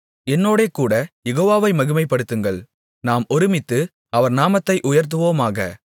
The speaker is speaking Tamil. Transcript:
என்னோடே கூடக் யெகோவாவை மகிமைப்படுத்துங்கள் நாம் ஒருமித்து அவர் நாமத்தை உயர்த்துவோமாக